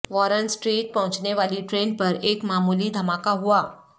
Warren Street پہنچنے والی train پر ایک معمولی دھماکہ ہوا